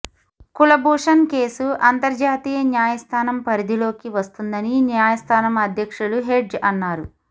కులభూషణ్ కేసు అంతర్జాతీయ న్యాయస్థానం పరిధిలోకి వస్తుందని నాయస్థానం అధ్యక్షులు హెడ్జ్ అన్నారు